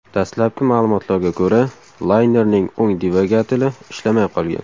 Dastlabki ma’lumotlarga ko‘ra, laynerning o‘ng dvigateli ishlamay qolgan.